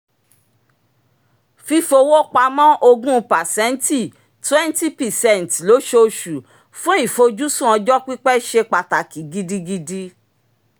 fífowó pamọ́ ogún pàséntì twenty percent lósooṣù fún ìfojúsùn ọjọ́ pípẹ̀ ṣe pàtàkì gidigidi